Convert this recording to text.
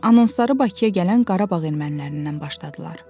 Anonsları Bakıya gələn Qarabağ ermənilərindən başladılar.